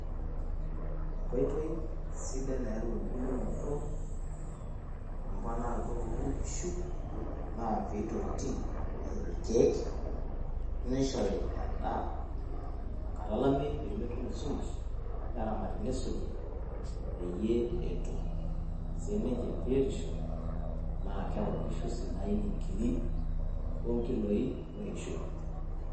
EEnkoitoi sidaii naayauu embulunoto wemponaroto oonkishu naa pitoti nishori ilkeek nishori endaa tenkata olameyu naa pemetum esumash neramati nisuji peyiee etuum sininye biotisho keaku kaisidain inkiri onkiloi, ooeishoi.